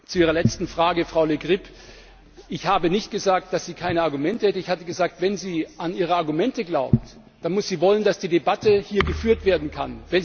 Zu Ihrer letzten Frage Ich habe nicht gesagt, dass Frau Le Grip keine Argumente hätte. Ich habe gesagt, wenn sie an Ihre Argumente glaubt, dann muss sie wollen, dass die Debatte hier geführt werden